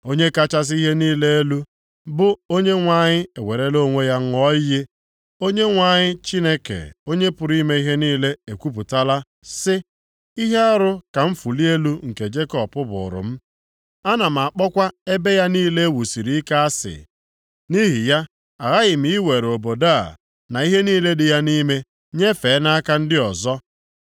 Onye kachasị ihe niile elu, bụ Onyenwe anyị ewerela onwe ya ṅụọ iyi, Onyenwe anyị Chineke Onye pụrụ ime ihe niile ekwupụtala sị, “Ihe arụ ka mfụli elu nke Jekọb bụrụ m; ana m akpọkwa ebe ya niile e wusiri ike asị. Nʼihi ya, aghaghị m iwere obodo a na ihe niile dị ya nʼime nyefee nʼaka ndị ọzọ.”